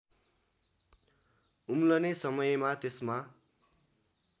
उम्लने समयमा त्यसमा